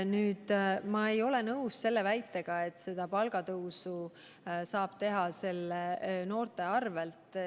Aga ma ei ole nõus väitega, et seda palgatõusu saab teha noorte arvel.